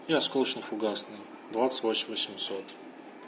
и осколочно-фугасный двадцать восемь восемьсот